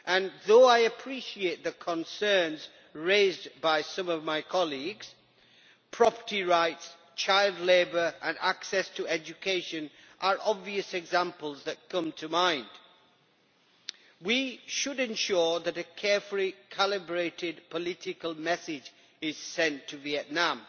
Although I appreciate the concerns raised by some of my colleagues property rights, child labour and access to education are obvious examples that come to mind we should ensure that a carefully calibrated political message is sent to Vietnam.